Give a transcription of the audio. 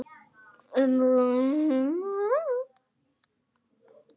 Ummælin má sjá hér.